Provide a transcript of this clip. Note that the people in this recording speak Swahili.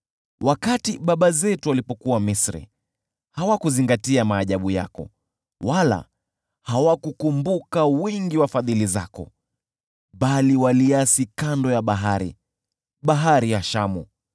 Wakati baba zetu walipokuwa Misri, hawakuzingatia maajabu yako, wala hawakukumbuka wingi wa fadhili zako, bali waliasi kando ya bahari, Bahari ya Shamu.